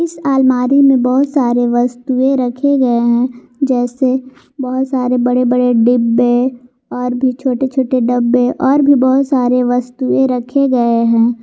इस अलमारी में बहोत सारे वस्तुएं रखे गए हैं जैसे बहोत सारे बड़े बड़े डिब्बे और भी छोटे छोटे डब्बे और भी बहोत सारे वस्तुएं रखे गए हैं।